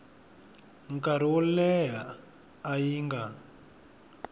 nkarhi wo leha leyi nga